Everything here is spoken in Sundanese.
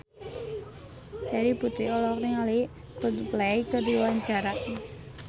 Terry Putri olohok ningali Coldplay keur diwawancara